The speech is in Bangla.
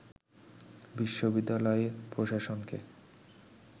বিশ্ববিদ্যালয় প্রশাসনকে